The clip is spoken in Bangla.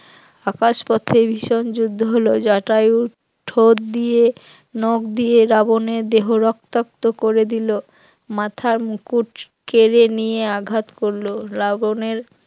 আকাশ পথে ভীষণ যুদ্ধ হলো, জটায়ু ঠোঁট দিয়ে নখ দিয়ে রাবণের দেহ রক্তাক্ত করে দিল, মাথার মুকুট কেড়ে নিয়ে আঘাত করল, রাবণের